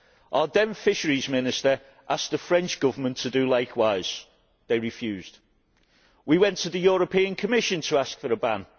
Our then Fisheries Minister asked the French Government to do likewise. They refused. We went to the Commission to ask for a ban.